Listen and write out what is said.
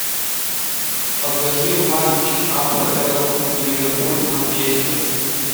покажи матч апл ливерпуль манчестер